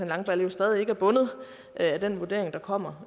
langballe jo stadig ikke er bundet af den vurdering der kommer